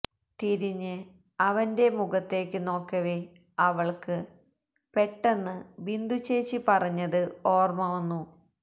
തിരിഞ്ഞ് അവന്റെ മുഖത്തേക്കു നോക്കവേ അവൾക്ക് പെട്ടന്ന് ബിന്ദുച്ചേച്ചി പറഞ്ഞത് ഓർമ്മ വന്നു